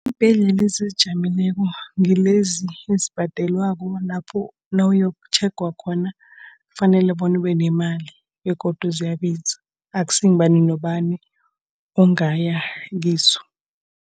Iimbhedlela ezizijameleko ngilezi ezibhadelwako. Lapho nawuyokuthenga khona kufanele bona ube nemali begodu ziyabiza. Akusi ngubani nobani ungaya kizo.